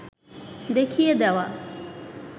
দেখিয়ে দেওয়া